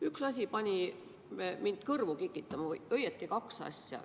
Üks asi pani mind kõrvu kikitama või õieti kaks asja.